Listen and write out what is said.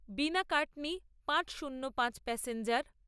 বিনাকাটনি পাঁচ শুন্য পাঁচ প্যাসেঞ্জার